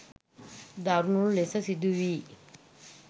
දරුණු ලෙස සිදු වී